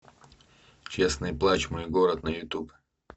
честный плачь мой город на ютуб